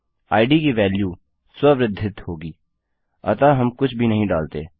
इद की वेल्यू स्व वृद्धित होगी अतः हम कुछ भी नहीं डालते